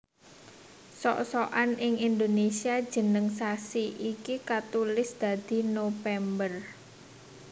Sok sokan ing Indonésia jeneng sasi iki katulis dadi Nopember